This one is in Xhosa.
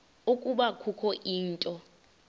ukuba kukho into